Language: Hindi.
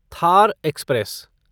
थार एक्सप्रेस